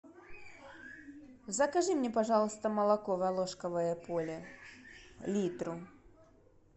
закажи мне пожалуйста молоко волошковое поле литр